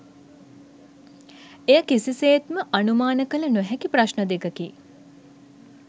එය කිසිසේත්ම අනුමාන කල නොහැකි ප්‍රශ්න දෙකකි.